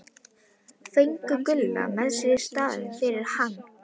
Fengu Gulla með sér í staðinn fyrir hann!